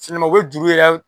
u bɛ juru yɛrɛ